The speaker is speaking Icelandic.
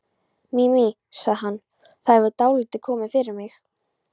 Mimi, sagði hann, það hefur dálítið komið fyrir mig